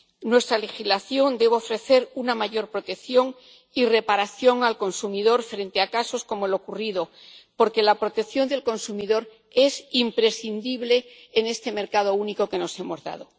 Nuestra legislación debe ofrecer una mayor protección y reparación al consumidor frente a casos como el ocurrido, porque la protección del consumidor es imprescindible en este mercado único que nos hemos dado.